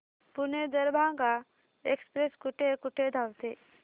Pune Darbhanga express कुठे कुठे थांबते